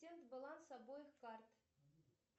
баланс обоих карт